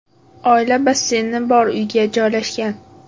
Oila basseyni bor uyga joylashgan.